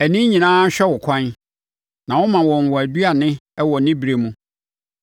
Ani nyinaa hwɛ wo ɛkwan, na woma wɔn wɔn aduane wɔ ne berɛ mu.